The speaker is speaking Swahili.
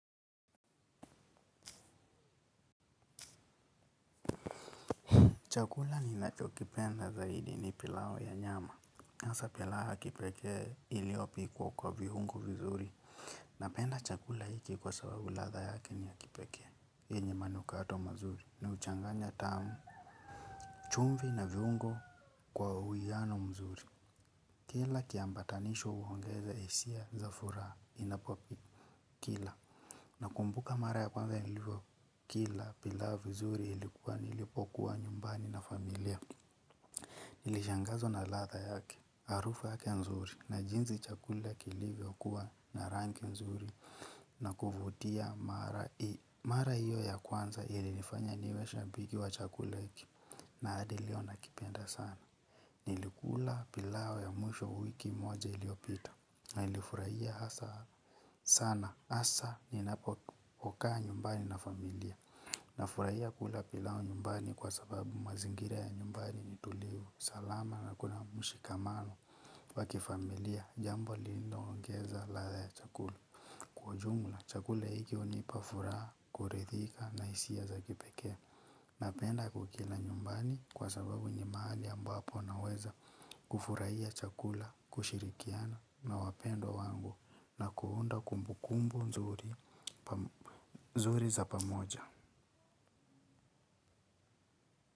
Chakula ninacho kipenda zaidi ni pilau ya nyama. Asa pilau ya kipekee iliopikwa kwa viungo vizuri. Napenda chakula hiki kwa sababu latha yake ni ya kipekee. Yenye manukato mazuri. Ni uchanganya tamu chumvi na viungo kwa uwiano mzuri. Kila kiambatanisho uongeza hisia za furaha inapopi. Kila na kumbuka mara ya kwanza ilivo kila pilau vizuri ilikuwa nilipokuwa nyumbani na familia. Nilishangazwa na latha yake, harufa yake nzuri na jinzi chakula kilivyo kuwa na rangi nzuri na kuvutia mara hiyo ya kwanza ilinifanya niwe shabiki wa chakula hiki na hadi leo nakipenda sana. Nilikula pilau ya mwisho kwa wiki moja iliyopita na ilifurahia hasa sana. Asa ninapokukaa nyumbani na familia na furahia kula pilau nyumbani kwa sababu mazingira ya nyumbani ni tulivu salama na kuna mshikamano wakifamilia jambo lililo ongeza latha ya chakula. Kwa ujumla, chakula hiki unipa furaha, kuridhika na hisia za kipekee. Napenda kukila nyumbani kwa sababu ni mahali ambapo naweza kufurahia chakula, kushirikiana na wapendwa wangu na kuunda kumbukumbu nzuri za pamoja.